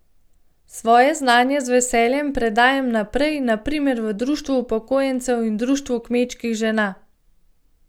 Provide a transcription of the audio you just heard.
Svoje znanje z veseljem predajam naprej, na primer v društvu upokojencev in društvu kmečkih žena.